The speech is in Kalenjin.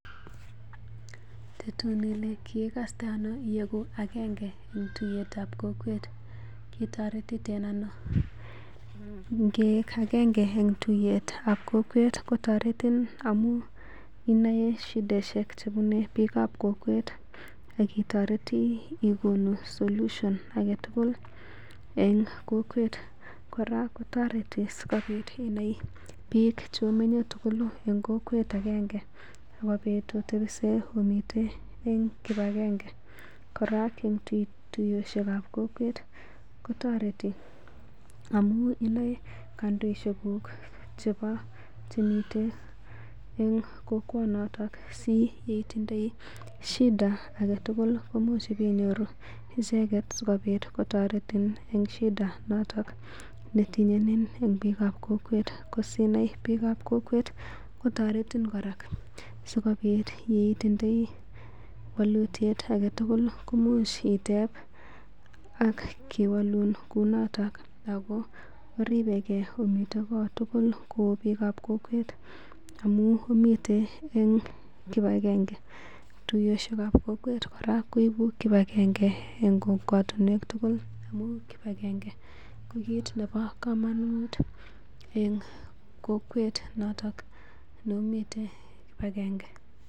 Tetun Ile kiikaste ano iegu agenge en tuiyetab kokwet kitoretiten ano ingee agenge en tuiyetab kokwet kotoretin amun inae shidaishek chebune biikab kokwet akitoreti igonu solution agetugul en kokwet koraa kotoreti sikobit inai biik chomenye tugul en kokwet agenge sikobit um omiten en kibagenge koraa tuiyoshekab kokwet kotoreti amun inae kondoishekuk chebo chemiten en kokwet noton si itindoi shida agetugul komuch ibeinyoru icheket sikobit kotoretin en shida noton netinyenyin biikab kokwet ko Sinai biikab kokwet kotoretin koraa sikobit itindoi wolutiet agetugul komuch iteb kewolun noton ago oribeke omiten kot tugul o biikab kokwet amun miten en kibagenge tuiyoshekab kokwet koraa koibu kibagenge en komwatinwek tugul amun kibagenge ko kiit nebo kamanut en kokwet noton ne omiten kibagenge.